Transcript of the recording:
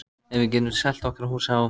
Ef við getum selt okkar hús á